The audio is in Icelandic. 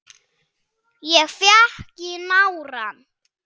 Ég fékk í nárann.